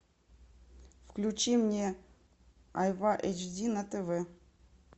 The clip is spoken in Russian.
включи мне айва эйч ди на тв